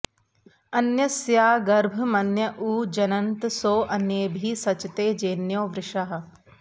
अन्यस्या गर्भमन्य ऊ जनन्त सो अन्येभिः सचते जेन्यो वृषा